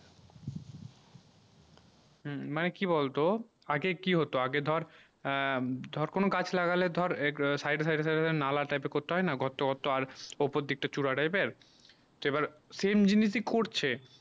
হম মানে কি বল তো আগে কি হতো আগে ধর ধর কোনো গাছ লাগালে ধর side side side নালা type এ করতে হয়ে না গত গত আর ওপর দিকে চূড়া type এর সেই এইবার same জিনিস ই করছে